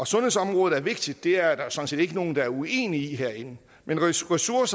sundhedsområdet er vigtigt det er der sådan set ikke nogen der er uenige i herinde men ressourcerne